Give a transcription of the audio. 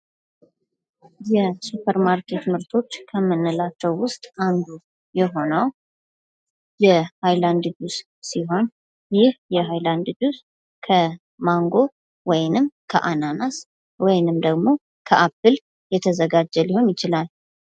የሱፐር ማርኬት ምርቶች ከምንላቸው ውስጥ አንዱ የሆነው የሃይላንድ ጁስ ሲሆን ይህ የሀይላድ ጁስ ከማንጎ ወይንም ከአናናስ ወይንም ደግሞ ከአፕል የተዘጋጀ ሊሆን ይችላል።